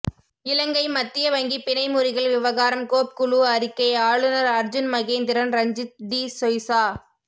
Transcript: இலங்கை மத்திய வங்கி பிணை முறிகள் விவகாரம் கோப் குழு அறிக்கை ஆளுநர் அர்ஜுன் மகேந்திரன் ரஞ்சித் டி சொய்சா